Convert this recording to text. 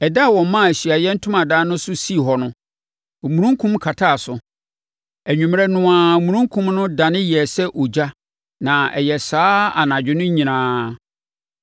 Ɛda a wɔmaa Ahyiaeɛ Ntomadan no so sii hɔ no, omununkum kataa so. Anwummerɛ no ara, omununkum no dane yɛɛ sɛ ogya na ɛyɛɛ saa ara anadwo mu no nyinaa.